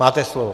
Máte slovo.